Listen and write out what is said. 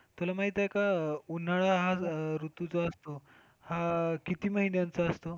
तुला माहितीये का? उन्हाळा हा ऋतू जो असतो हा किती महिन्याचा असतो?